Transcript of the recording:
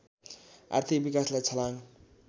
आर्थिक विकासलाई छलाङ